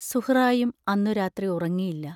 സുഹ്റായും അന്നു രാത്രി ഉറങ്ങിയില്ല.